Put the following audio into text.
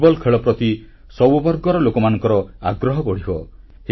football ଖେଳ ପ୍ରତି ସବୁ ବର୍ଗର ଲୋକମାନଙ୍କର ଆଗ୍ରହ ବଢ଼ିବ